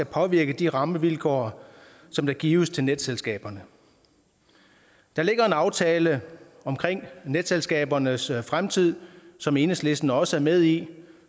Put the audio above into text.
påvirke de rammevilkår der gives til netselskaberne der ligger en aftale om netselskabernes fremtid som enhedslisten også er med i